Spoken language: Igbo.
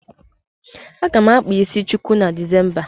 Aga m akpa isi chuku na Disemba.